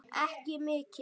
Ekki mikinn.